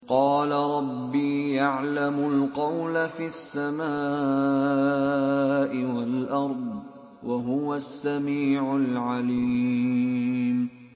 قَالَ رَبِّي يَعْلَمُ الْقَوْلَ فِي السَّمَاءِ وَالْأَرْضِ ۖ وَهُوَ السَّمِيعُ الْعَلِيمُ